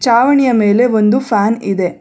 ಚಾವಣಿಯ ಮೇಲೆ ಒಂದು ಫ್ಯಾನ್ ಇದೆ.